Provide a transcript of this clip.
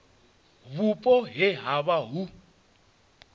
vhupo he ha vha hu